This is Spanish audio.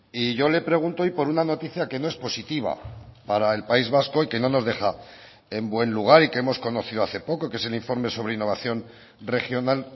y yo le pregunto hoy por una noticia que no es positiva para el país vasco y que no nos deja en buen lugar y que hemos conocido hace poco que es el informe sobre innovación regional